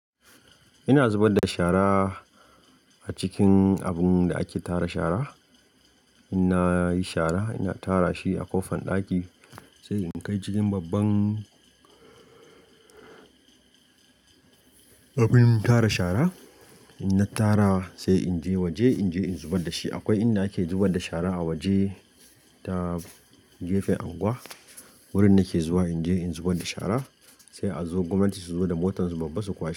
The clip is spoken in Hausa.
Ina zubar da shara a cikin abun da ake tara shara. In nayi shara ina tara shi a ƙofan ɗaki sai in kai cikin babban abin tara shara. In na tara sai in je waje in je in zubar da shi. Akwai inda ake zubar da shara a waje ta gefen unguwa wurin nake zuwa in je in zubar da shara sai a zo gwamnati su zo da motan su babban su kwashe.